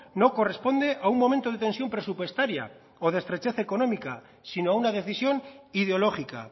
no corresponde a un momento de tensión presupuestaria o de estrechez económica sino a una decisión ideológica